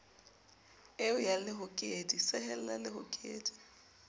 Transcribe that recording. eo ya lehokedi sehella lehokedi